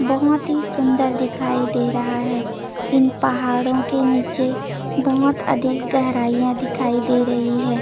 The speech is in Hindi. बहोत ही सुन्दर दिखाई दे रहा हे इन पहाड़ो के नीचे बहोत अधिक गहराहिया दिखाई दे रही हे।